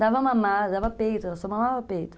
Dava a mamar, dava peito, ela só mamava peito.